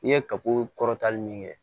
I ye kabako kɔrɔta nin kɛ